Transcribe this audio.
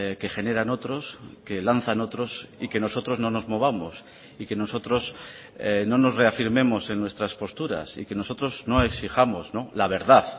que generan otros que lanzan otros y que nosotros no nos movamos y que nosotros no nos reafirmemos en nuestras posturas y que nosotros no exijamos la verdad